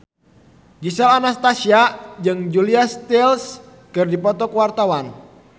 Gisel Anastasia jeung Julia Stiles keur dipoto ku wartawan